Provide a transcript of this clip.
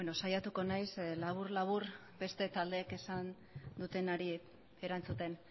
saiatuko naiz labur labur beste taldeek esan dutenari erantzuten